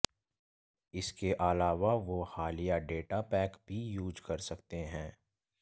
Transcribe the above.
इसके अलावा वो हालिया डेटा पैक भी यूज कर सकते हैं